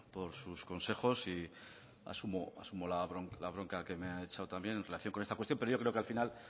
por sus consejos y asumo la bronca que me ha echado también en relación con esta cuestión pero yo creo que al final